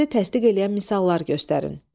Fikrinizi təsdiq eləyən misallar göstərin.